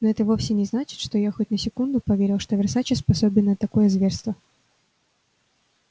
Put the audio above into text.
но это вовсе не значит что я хоть на секунду поверил что версаче способен на такое зверство